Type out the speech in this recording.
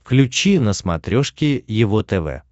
включи на смотрешке его тв